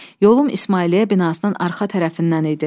Yolum İsmailiyyə binasının arxa tərəfindən idi.